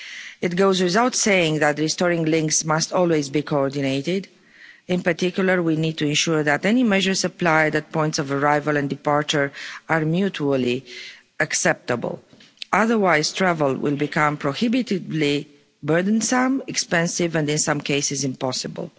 It goes without saying that restoring links must always be coordinated, in particular we need to ensure that any measures applied at points of arrival and departure are mutually acceptable, otherwise travel will become prohibitively burdensome, expensive and in some cases impossible.